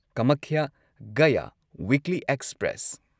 Kamakhya Gaya weekly express